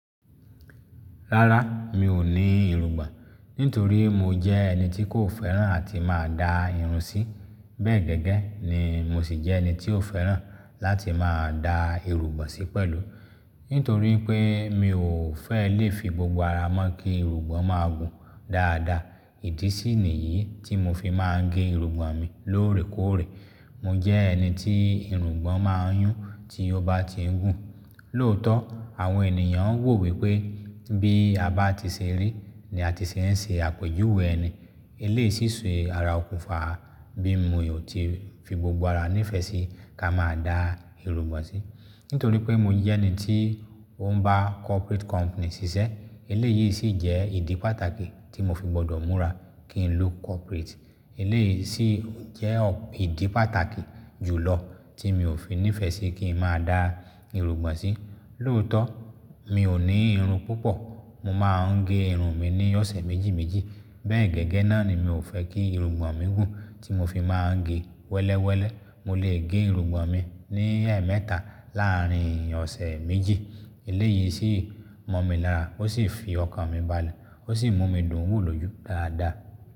Rárá, mi ò ní irungbọ̀n, nítorí mo jẹ́ ẹni tí kò fẹ́ràn àti máa da irun sí. Bẹ́ẹ̀ gẹ́gẹ́ ni mo sì jẹ́ ẹni tí ò fẹ́ràn láti máa da irungbọ̀n sí pẹ̀lú. Nítorí pé mi ò fẹ́ lè fi gbogbo ara mọ́ kí irungbọ̀n máa gùn dáadáa. Ìdísì ni yìí tí mo fi máa ń gẹ irungbọ̀n mi lóòrè kóòrè. Mo jẹ́ ẹni tí irungbọ̀n máa ń yún tí ó bá ti ń gùn. Lóòótọ́, àwọn ènìyàn ń wò wípé bí a bá ti ṣe rí ni a ti ṣé ń ṣe àpèjúwe ẹni. Eléyìí sì ṣe ara òkùnfà bí mo ò ti fi gbogbo ara nífẹ̀ẹ́ sí ká máa da irungbọ̀n sí. Nítorí pé mo jẹ́ ẹni tí ó ń bá corporate company ṣiṣẹ́, eléyìí sì jẹ́ ìdí pàtàkì tí mo fi gbọdọ̀ múra kí n look corporate. Eléyìí sì jẹ́ ìdí pàtàkì jùlọ tí mi ò fi nífẹ̀ẹ́ sí kí n máa da irungbọ̀n sí. Lóòótọ́, mi ò ní irun púpọ̀. Mo máa ń gẹ irun mi ní ọ̀sẹ̀ méjì méjì. Bẹ́ẹ̀ gẹ́gẹ́ náà ni mi ò fẹ́ kí irungbọ̀n mi gùn tí mo fi máa ń gẹ wẹ́lẹ́wẹ́lẹ́. Mo lè gẹ irungbọ̀n mi ní ẹmẹ́tà láàrín ọ̀sẹ̀ méjì. Eléyìí sì mọ̀ mi lára ó sì fi ọkàn mi balẹ̀, ó sì mú mi dùn wò lójú dáadáa.